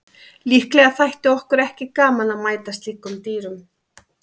Líklega þætti okkur ekki gaman að mæta slíkum dýrum.